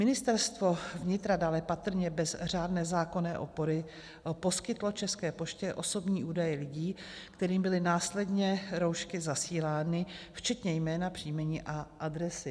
Ministerstvo vnitra dále patrně bez řádné zákonné opory poskytlo České poště osobní údaje lidí, kterým byly následně roušky zasílány, včetně jména, příjmení a adresy.